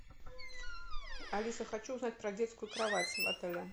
алиса хочу узнать про детскую кровать в отеле